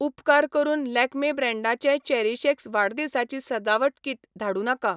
उपकार करून लॅक्मे ब्रँडाचें चेरीशएक्स वाडदिसाची सजावट किट धाडूं नाका.